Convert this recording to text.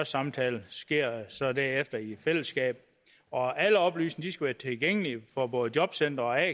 samtale sker så derefter i fællesskab og alle oplysninger skal være tilgængelige for både jobcentre og a